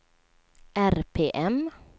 RPM